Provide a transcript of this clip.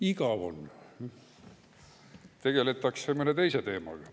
Igav on, tegeldakse mõne teise teemaga.